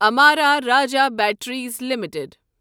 Amara Raja batteries limited